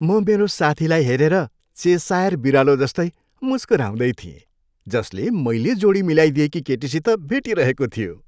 म मेरो साथीलाई हेरेर चेसायर बिरालो जस्तै मुस्कुराउँदै थिए जसले मैले जोडी मिलाइदिएकी केटीसित भेटिरहेको थियो।